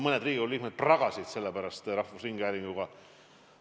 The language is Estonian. Mõned Riigikogu liikmed pragasid selle pärast rahvusringhäälinguga.